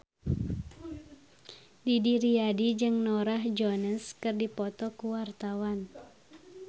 Didi Riyadi jeung Norah Jones keur dipoto ku wartawan